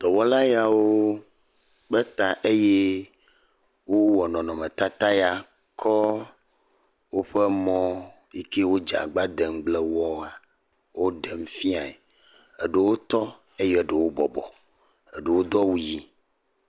Dɔwɔla yawo kpe ta eye wowɔ nɔnɔmetata ya kɔ woƒe mɔ yi kewodze agbagba de ŋugble wɔa, woɖem fiaɛ. Eɖewo tɔ, eye ɖewo bɔbɔ. Eɖewo do awu yi.